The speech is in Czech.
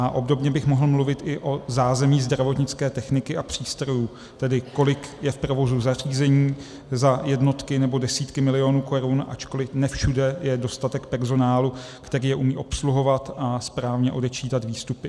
A obdobně bych mohl mluvit i o zázemí zdravotnické techniky a přístrojů, tedy kolik je v provozu zařízení za jednotky nebo desítky milionů korun, ačkoliv ne všude je dostatek personálu, který je umí obsluhovat a správně odečítat výstupy.